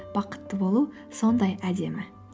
бақытты болу сондай әдемі